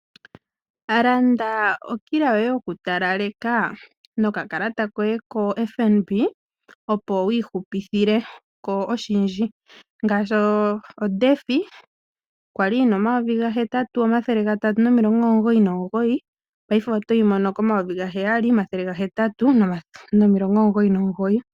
Landa okila yoye yoku talaleka noka kalata koye ko FNB, opo wiihupithileko oshindji, ngashi oDefy kwali yina N$8,399, paife otoyi mono N$7,899.